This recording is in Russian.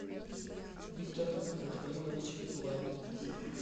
виктор рафаилович лапин